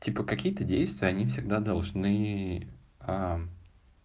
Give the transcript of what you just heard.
типа какие-то действия они всегда должны